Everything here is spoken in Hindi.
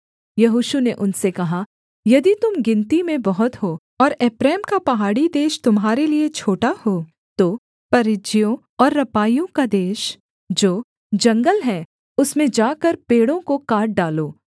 यहोशू ने उनसे कहा यदि तुम गिनती में बहुत हो और एप्रैम का पहाड़ी देश तुम्हारे लिये छोटा हो तो परिज्जियों और रपाइयों का देश जो जंगल है उसमें जाकर पेड़ों को काट डालो